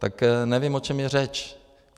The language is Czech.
Tak nevím, o čem je řeč.